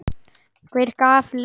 Hver gaf leyfi fyrir þessu?